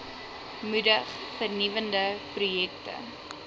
moedig vernuwende projekte